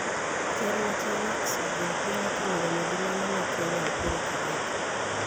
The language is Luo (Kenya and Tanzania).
Ker ma China Xi Jinping otimo romo gi mano ma Kenya Uhuru Kenyatta,